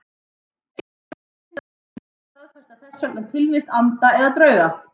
Engar vísindarannsóknir staðfesta þess vegna tilvist anda eða drauga.